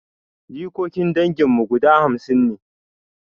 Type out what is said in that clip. Jikokin dangin mu guda hamsin ne